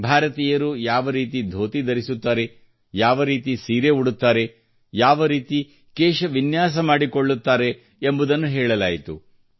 ಭಾರತೀಯರು ಯಾವ ರೀತಿ ಧೋತಿ ಧರಿಸುತ್ತಾರೆ ಯಾವ ರೀತಿ ಸೀರೆ ಉಡುತ್ತಾರೆ ಯಾವ ರೀತಿ ಕೇಶ ವಿನ್ಯಾಸ ಮಾಡಿಕೊಳ್ಳುತ್ತಾರೆ ಎಂಬುದನ್ನು ಹೇಳಲಾಯಿತು